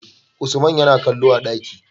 Usaman Yana kallo a daki